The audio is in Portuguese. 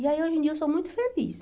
E aí, hoje em dia, eu sou muito feliz.